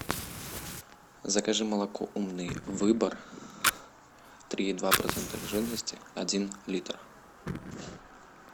закажи молоко умный выбор три и два процента жирности один литр